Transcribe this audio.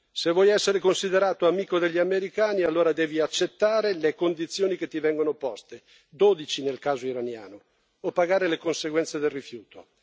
Se vuoi essere considerato amico degli americani, allora devi accettare le condizioni che ti vengono poste, dodici nel caso iraniano, o pagare le conseguenze del rifiuto.